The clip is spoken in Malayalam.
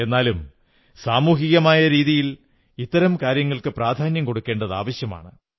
എന്നാലും സാമൂഹികമായ രീതിയിൽ ഇത്തരം കാര്യങ്ങൾക്ക് പ്രധാന്യം കൊടുക്കേണ്ടത് ആവശ്യമാണ്